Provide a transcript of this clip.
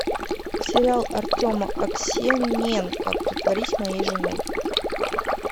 сериал артема аксененко притворись моей женой